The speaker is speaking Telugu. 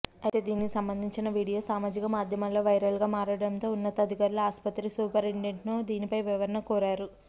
అయితే దీనికి సంబంధించిన వీడియో సామాజిక మాధ్యమాల్లో వైరల్గా మారడంతో ఉన్నతాధికారులు ఆస్పత్రి సూపరిండెంట్ను దీనిపై వివరణ కోరారు